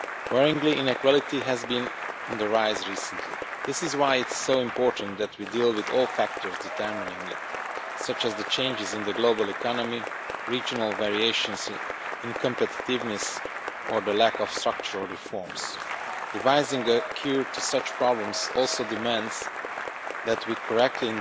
Worryingly, inequality has been on the rise recently. This is why it is so important that we deal with all factors determining it, such as the changes in the global economy, regional variations in competitiveness or the lack of structural reforms. Devising a cure to such problems also demands that we correctly